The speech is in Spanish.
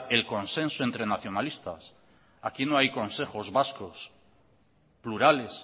el consenso entre nacionalistas aquí no hay consejos vascos plurales